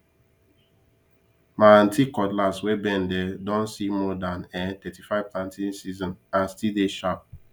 ma aunty cutlass wey bend um don see more than um thirty five planting season and still dey sharp